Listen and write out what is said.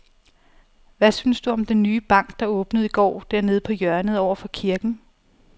Hvad synes du om den nye bank, der åbnede i går dernede på hjørnet over for kirken?